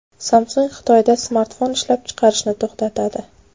Samsung Xitoyda smartfon ishlab chiqarishni to‘xtatadi.